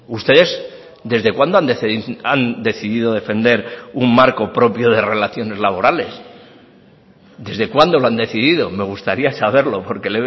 ustedes desde cuándo han decidido defender un marco propio de relaciones laborales desde cuando lo han decidido me gustaría saberlo porque